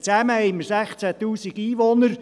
Zusammen haben wir 16 000 Einwohner.